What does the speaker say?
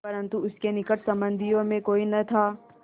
परन्तु उसके निकट संबंधियों में कोई न था